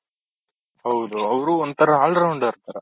ಹೌದು ಅವ್ರು ಒಂಥರ all rounder ತರ